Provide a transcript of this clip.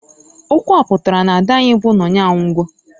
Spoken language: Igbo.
Okwu a pụtara, na -ada anyi bu Nonye anwugo.